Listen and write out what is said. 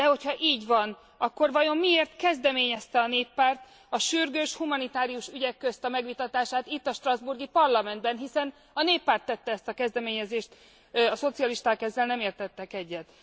De ha így van, akkor vajon miért kezdeményezte a Néppárt a sürgős, humanitárius ügyek közt a megvitatását itt, a strasbourgi Parlamentben hiszen a Néppárt tette ezt a kezdeményezést, a szocialisták ezzel nem értettek egyet.